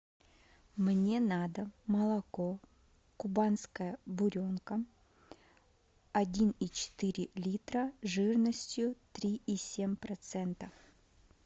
мне надо молоко кубанская буренка один и четыре литра жирностью три и семь процента